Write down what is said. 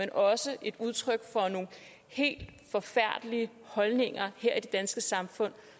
er også udtryk for nogle helt forfærdelige holdninger her i det danske samfund